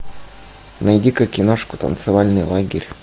найди ка киношку танцевальный лагерь